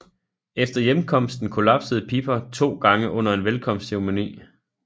Efter hjemkomsten kollapsede Piper to gange under en velkomstceremoni